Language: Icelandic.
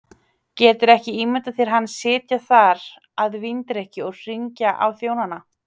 Geturðu ekki ímyndað þér hann sitja þar að víndrykkju og hringja á þjónana.